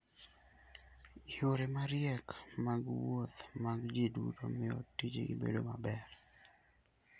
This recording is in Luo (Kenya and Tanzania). Yore mariek mag wuoth mag ji duto miyo tijni bedo maber.